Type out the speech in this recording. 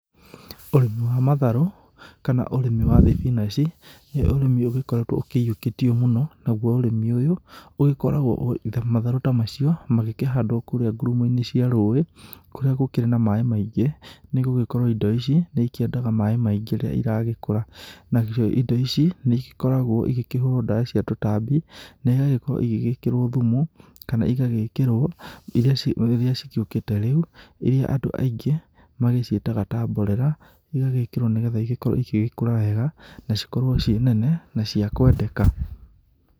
Ũrĩmi wa matharũ, kana ũrĩmi wa thibinaji, nĩ ũrĩmi ũgĩkoretũo ũkĩyũkĩtio mũno. Naguo ũrĩmi ũyũ, ũgĩkoragũo matharũ ta macio magĩkĩhandwo kũrĩa ngurumo-inĩ cia rũĩ, kũrĩa gũkĩrĩ na maĩ maingĩ, nĩgũgĩkorwo indo ici, nĩikĩendaga maĩ maĩngi rĩrĩa iragĩkũra. Nacio indo ici, nĩgĩkoragwo ĩgĩkĩhũrũo ndawa cia tũtambi, naigagĩkorwo igĩgĩkĩrwo thumu, kana ĩgagĩkĩrwo, iria ciũ iria ciũkĩte rĩu, iria andũ aingĩ, magĩciĩtaga ta mborera, igagĩkĩrwo nĩgetha igĩgĩkorũo igĩkũra wega, na cikorwo ciĩ nene, na cia kwendeka.